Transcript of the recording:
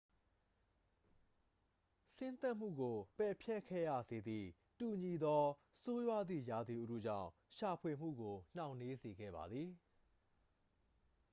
ဆင်းသက်မှုကို ပယ်ဖျက်ခဲ့ရစေသည့် တူညီသော ဆိုးဝါးသည့် ရာသီဥတုကြောင့် ရှာဖွေမှုကို နှောင့်နှေးစေခဲ့ပါသည်